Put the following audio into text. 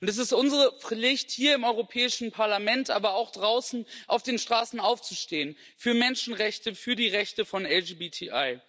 Und es ist unsere Pflicht, hier im Europäischen Parlament, aber auch draußen auf den Straßen aufzustehen für Menschenrechte, für die Rechte von LGBTI.